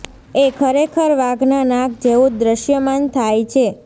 એ ખરેખર વાઘનાં નાક જેવું જ દ્રશ્યમાન થાય છે